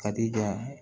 Ka di yan